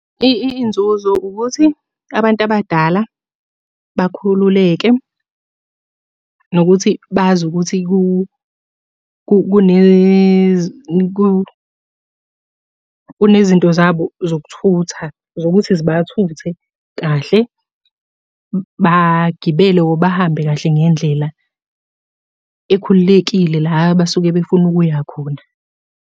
Iy'nzuzo ukuthi, abantu abadala bakhululeke, nokuthi bazi ukuthi kunezinto zabo zokuthutha zokuthi zibathute kahle, bagibele or bahambe kahle ngendlela ekhululekile la abasuke befuna ukuya khona.